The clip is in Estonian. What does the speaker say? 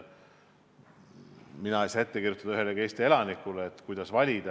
Mina ei saa ette kirjutada ühelegi Eesti elanikule, kuidas valida.